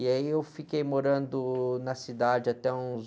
E aí eu fiquei morando na cidade até uns...